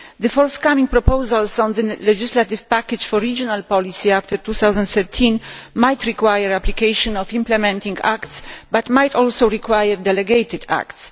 The forthcoming proposals on the legislative package for regional policy after 2013 might require application of implementing acts, but might also require delegated acts.